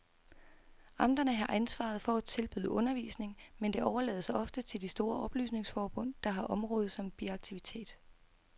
Amterne har ansvaret for at tilbyde undervisning, men det overlades ofte til de store oplysningsforbund, der har området som biaktivitet.